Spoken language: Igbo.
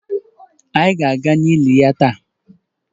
Ị ga-aga n'ili ya taa?